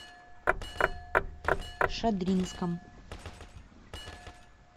шадринском